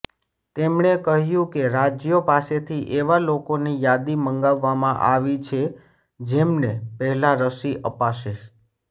તેમણે કહ્યું કે રાજ્યો પાસેથી એવા લોકોની યાદી મંગાવામાં આવી છે જેમને પહેલાં રસી અપાશે